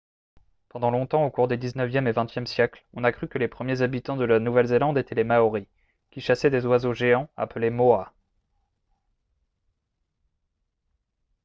pendant longtemps au cours des xixe et xxe siècles on a cru que les premiers habitants de la nouvelle-zélande étaient les maoris qui chassaient des oiseaux géants appelés moas